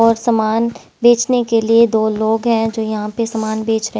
और सामान बेचने के लिए दो लोग हैंजो यहाँ पे सामान बेच रहे--